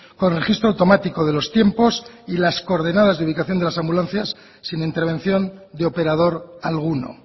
con registro automático de los tiempos y las coordenadas de ubicación de las ambulancias sin intervención de operador alguno